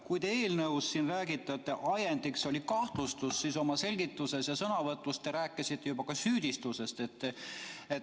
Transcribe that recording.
Kui te eelnõus räägite, et ajendiks oli kahtlustus, siis oma selgituses ja sõnavõtus te rääkisite juba ka süüdistusest.